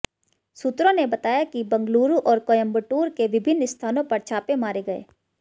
सूत्रों ने बताया कि बंगलुरु और कोयम्बटूर के विभिन्न स्थानों पर छापे मारे गए